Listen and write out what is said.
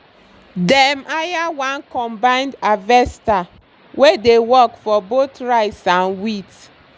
dem hire one combined harvester wey dey work for both rice and wheat